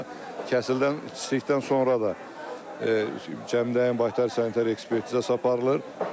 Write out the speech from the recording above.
Sonra kəsildikdən sonra da cəmdəyin baytar sanitar ekspertizası aparılır.